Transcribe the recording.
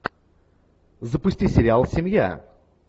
запусти сериал семья